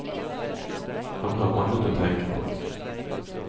Han har annet å tenke på.